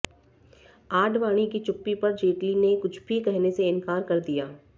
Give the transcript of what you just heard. आडवाणी की चुप्पी पर जेटली ने कुछ भी कहने से इनकार कर दिया